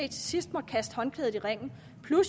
sidst måtte kaste håndklædet i ringen